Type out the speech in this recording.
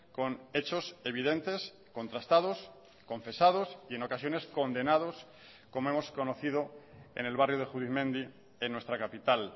con hechos evidentes contrastados confesados y en ocasiones condenados como hemos conocido en el barrio de judimendi en nuestra capital